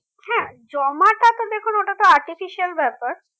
হ্যাঁ জমাটা তো দেখুন ওটাতো artificial ব্যাপার